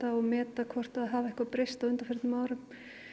og meta hvort það hafi eitthvað breyst á undanförnum árum